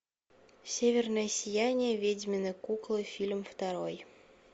северное сияние ведьмины куклы фильм второй